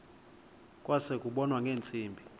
kwase kubonwa ngeentsimbi